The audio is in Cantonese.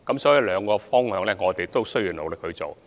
所以，兩個方向我們也會努力地做。